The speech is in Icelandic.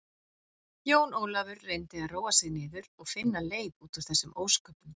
Jón Ólafur reyndi að róa sig niður og finna leið út úr þessum ósköpum.